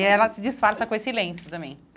E ela se disfarça com esse lenço também.